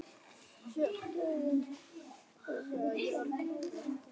Rifin niður í litla bita.